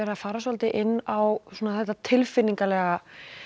að fara svolítið inn á þetta tilfinningalega